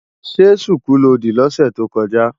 Ṣé ṣùkú lo dì lọ́sẹ̀ tó kọjá?